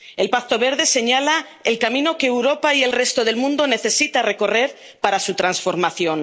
El Pacto Verde señala el camino que Europa y el resto del mundo necesitan recorrer para su transformación.